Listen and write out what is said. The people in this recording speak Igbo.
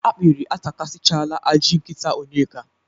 Akpịrị atakasịchala ajị nkịta Onyeka.